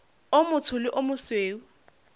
o motsho le o mosweu